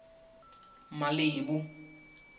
malebo